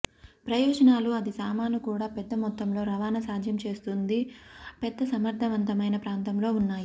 ప్రయోజనాలు అది సామాను కూడా పెద్ద మొత్తంలో రవాణా సాధ్యం చేస్తుంది పెద్ద సమర్థవంతమైన ప్రాంతంలో ఉన్నాయి